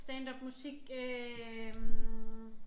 Standup musik øh